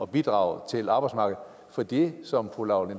bidrage til arbejdsmarkedet for det som fru laura